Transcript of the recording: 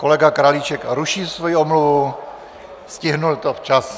Kolega Králíček ruší svoji omluvu, stihl to včas.